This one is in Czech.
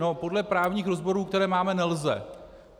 No, podle právních rozborů, které máme, nelze.